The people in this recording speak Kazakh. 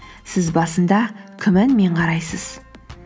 сіз басында күмәнмен қарайсыз